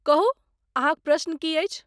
कहू, अहाँक प्रश्न की अछि?